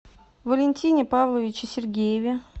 валентине павловиче сергееве